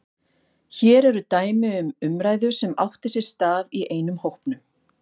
Hér er dæmi um umræðu sem átti sér stað í einum hópnum